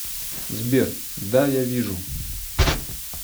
сбер да я вижу